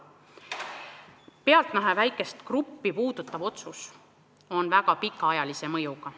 See pealtnäha väikest gruppi puudutav otsus on väga pikaajalise mõjuga.